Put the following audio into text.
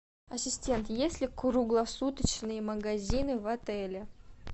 ассистент есть ли круглосуточные магазины в отеле